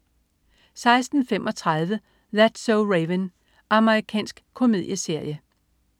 16.35 That's so Raven. Amerikansk komedieserie